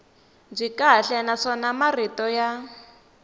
byi kahle naswona marito ya